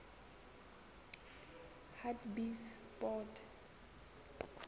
hartbeespoort